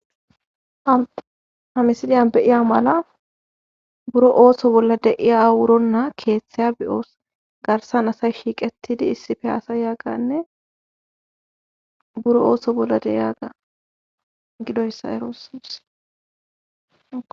Ha misiliyan beiya mala buro ooso bolla deiya awuronna keeththeya bi7oos garsan asa shiiqetidi issifi asa yagganne buro ooso bolla deiyaga gidoyssa erooss.